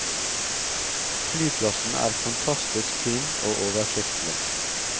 Flyplassen er fantastisk fin og oversiktlig.